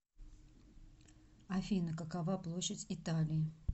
афина какова площадь италии